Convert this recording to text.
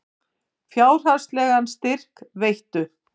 Fjárhagslegan styrk veittu